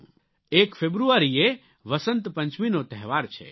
1 ફેબ્રુઆરીએ વસંત પંચમીનો તહેવાર છે